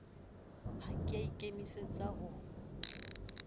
ha ke a ikemisetsa ho